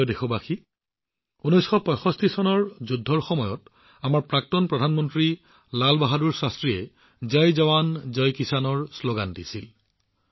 মোৰ মৰমৰ দেশবাসীসকল ১৯৬৫ চনৰ যুদ্ধৰ সময়ত আমাৰ প্ৰাক্তন প্ৰধানমন্ত্ৰী লাল বাহাদুৰ শাস্ত্ৰীয়ে জয় জোৱান জয় কিষাণৰ শ্লোগান দিছিল